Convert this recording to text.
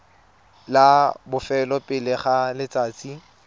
la bofelo pele ga letsatsi